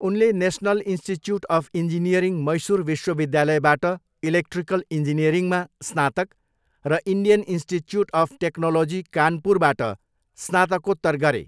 उनले National Institute of Engineering, Mysore विश्वविद्यालयबाट electrical इन्जिनियरिङमा स्नातक र इन्डियन इन्स्टिच्युट अफ टेक्नोलोजी कानपुरबाट स्नातकोत्तर गरे।